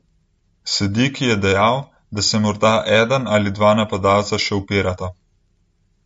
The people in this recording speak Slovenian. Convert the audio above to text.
Sediki je dejal, da se morda eden ali dva napadalca še upirata.